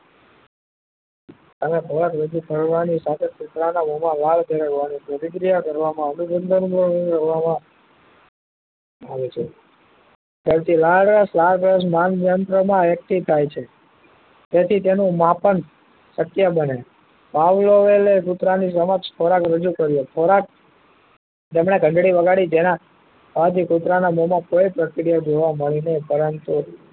તેથી તેનું માપન શક્ય બને પાવલો વેલે કુતરા ની સમક્ષ ખોરાક રજુ કર્યો ખોરાક તેમને ઘંટડી વગાડી જેના કુતરા ના મોમાં કોઈ પ્રક્રિયા જોવા મળી નહી પરંતુ